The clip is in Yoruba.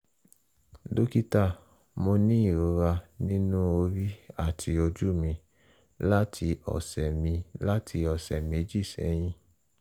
dókítà mo ní ìrora nínú orí àti ojú mi láti ọ̀sẹ̀ mi láti ọ̀sẹ̀ méjì sẹ́yìn